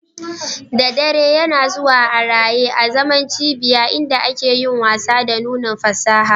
Da dare, yana zuwa a raye azaman cibiya inda ake yin wasa da nunin fasaha